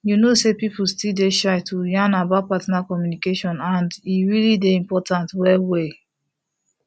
you know say people still dey shy to yan about partner communication and e really dey important well well